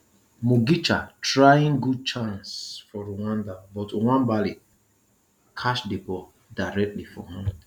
mugisha trying good chance for rwanda but nwabali catch di ball directly for hand